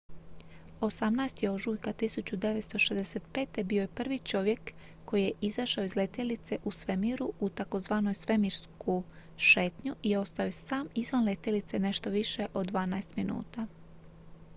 "18. ožujka 1965. bio je prvi čovjek koji je izašao iz letjelice u svemiru u tzv. "svemirsku šetnju" i ostao je sam izvan letjelice nešto više od dvanaest minuta.